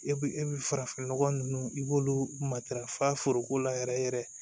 E bi e bi farafin nɔgɔ ninnu i b'olu matarafa foroko la yɛrɛ yɛrɛ